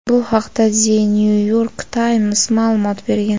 Bu haqda "The New York Times" ma’lumot bergan.